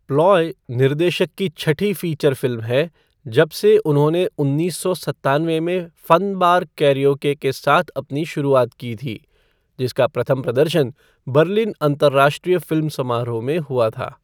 Ploy निर्देशक की छठी फीचर फ़िल्म है जबसे उन्होंने उन्नीस सौ सत्तानवे में फ़न बार कैरिओके के साथ अपनी शुरुआत की थी, जिसका प्रथम प्रदर्शन बर्लिन अंतर्राष्ट्रीय फ़िल्म समारोह में हुआ था।